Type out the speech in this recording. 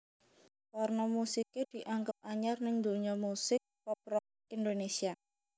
Warna musiké dianggep anyar ning dunya musik pop rock Indonésia